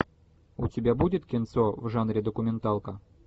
у тебя будет кинцо в жанре документалка